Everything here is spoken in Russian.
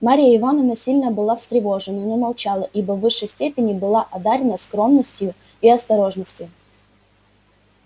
марья ивановна сильно была встревожена но молчала ибо в высшей степени была одарена скромностью и осторожностью